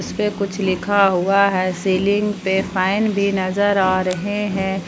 इसपे कुछ लिखा हुआ है सिलिंग पर फैन भी नजर आ रहे हैं।